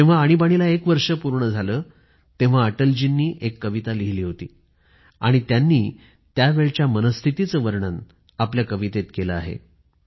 जेव्हा आणीबाणीला एक वर्ष पूर्ण झालं तेव्हा अटलजींनी एक कविता लिहिली होती आणि त्यांनी त्यावेळच्या मनस्थितीचं वर्णन आपल्या कवितेत केले आहे